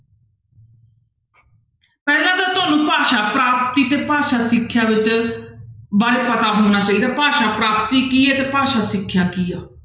ਪਹਿਲਾਂ ਤਾਂ ਤੁਹਾਨੂੰ ਭਾਸ਼ਾ ਪ੍ਰਾਪਤੀ ਤੇ ਭਾਸ਼ਾ ਸਿੱਖਿਆ ਵਿੱਚ ਬਾਰੇ ਪਤਾ ਹੋਣਾ ਚਾਹੀਦਾ ਭਾਸ਼ਾ ਪ੍ਰਾਪਤੀ ਕੀ ਹੈ ਤੇ ਭਾਸ਼ਾ ਸਿੱਖਿਆ ਕੀ ਹੈ।